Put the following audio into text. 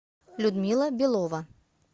людмила белова